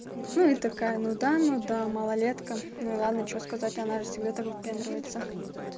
ну и такая ну да ну да малолетка ну и ладно что сказать она же всегда так выпендривается